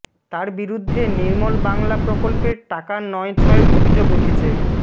তার বিরুদ্ধে নির্মল বাংলা প্রকল্পের টাকা নয় ছয়ের অভিযোগ উঠেছে